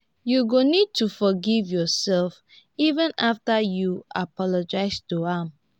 you go need to forgive yoursef even afta you apologize to am